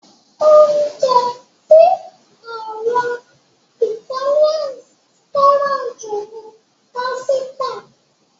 Oúnjẹ tí àwọn Ìtálians fẹ́ràn jù ni pásítà.